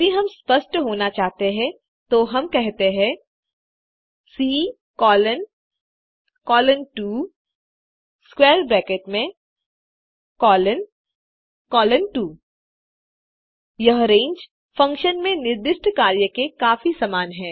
यदि हम स्पष्ट होना चाहते हैं तो हम कहते हैं C colon colon 2 square bracket में कोलोन कोलोन 2 यह रेंज फंक्शन में निर्दिष्ट कार्य के काफी समान है